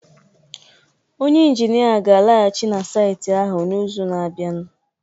onye injinia ga-alaghachi na saịtị ahụ n'izu na-abịa